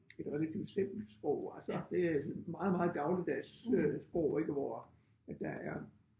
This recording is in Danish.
Et relativt simpelt sprog altså det meget meget dagligdags øh sprog ik hvor at der er